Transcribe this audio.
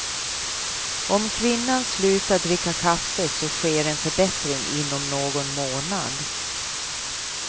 Om kvinnan slutar dricka kaffe så sker en förbättring inom någon månad.